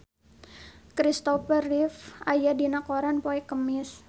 Christopher Reeve aya dina koran poe Kemis